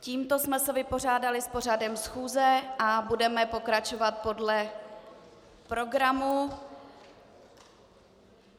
Tímto jsme se vypořádali s pořadem schůze a budeme pokračovat podle programu.